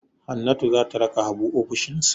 Hannatu za ta raka Habu ofishinsa.